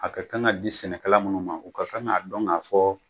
A ka kan ka di sɛnɛ kala minnu ma u ka kan ka dɔn k'a fɔ